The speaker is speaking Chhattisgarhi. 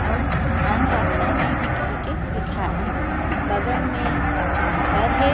आऊ आम रास्ता नहीं हे कहीके लिखये हे बगल में एक घर हे।